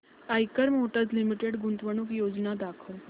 Eicher motors limited गुंतवणूक योजना दाखव